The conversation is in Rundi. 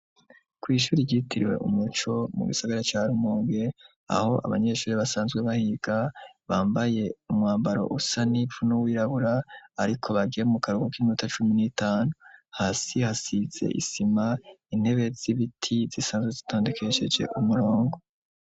Ku ishure ryitiriwe umuco mu gisagara ca rumonge aho abanyeshure basanzwe bahiga bambaye umwambaro usa n'ivu n'uwirabura ariko bagiye mu karuhuko kiminota cumi nitanu hasi hasize isima intebe z'ibiti zisanzwe zitondukesheje umurongo.